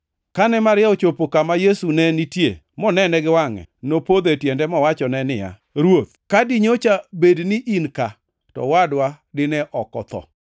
Kane Maria ochopo kama Yesu ne nitie monene gi wangʼe, nopodho e tiende mowachone niya, “Ruoth, ka dinyocha bed ni in ka to owadwa dine ok otho.”